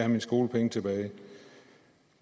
mine skolepenge tilbage